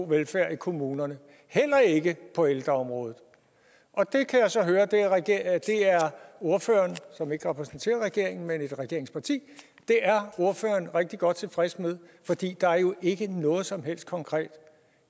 velfærd i kommunerne heller ikke på ældreområdet og det kan jeg så høre at ordføreren som ikke repræsenterer regeringen men et regeringsparti er rigtig godt tilfreds med fordi der jo ikke er noget som helst konkret